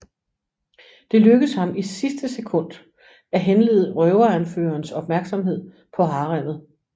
Det lykkes ham i sidste sekund at henlede røveranførerens opmærksomhed på haremmet